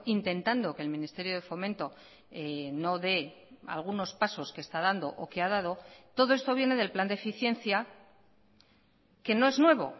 intentando que el ministerio de fomento no de algunos pasos que está dando o que ha dado todo esto viene del plan de eficiencia que no es nuevo